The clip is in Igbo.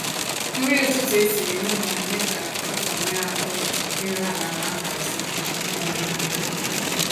Nrí ụ̀tụtụ̀ ésìrí n'ụ́lọ̀ ná-èmé kà ụ̀tụtụ̀ nwéé ahụ̀ írù àlà ná nhàzị́. um